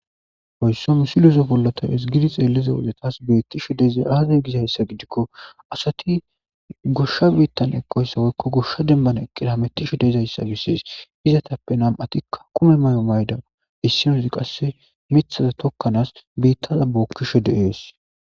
hoyssomusilozo pollota hesgidi xeelliza wudetas beettishe deezay aazey gizayssa gidikko asati goshsha biittan ekkoyssawoykko goshsha dembana eqqida metishe deyzayssa bissees izatappe nam atikka kume may7o mayda issinozi qasse mithaza tokkanaas biittaza bookkishe de7ees